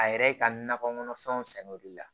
A yɛrɛ ka nakɔ kɔnɔfɛnw sɛnɛ o de la